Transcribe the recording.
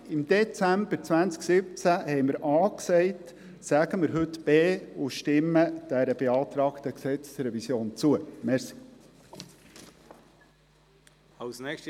Im Dezember 2017 sagten wir A, sagen wir also heute B und stimmen wir der beantragten Gesetzesänderung zu.